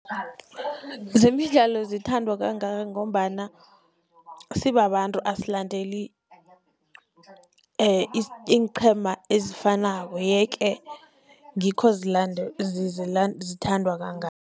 Zemidlalo zithandwa kangaka, ngombana sibabantu asilandeli iinqhema ezifanako, ye-ke ngikho zithandwa kangaka.